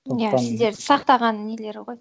иә сіздерді сақтаған нелері ғой